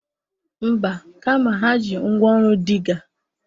Mba, kama ha ji ngwaọrụ Dịgga